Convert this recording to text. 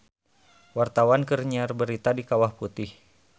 Wartawan keur nyiar berita di Kawah Putih